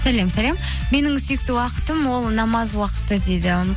сәлем сәлем менің сүйікті уақытым ол намаз уақыты дейді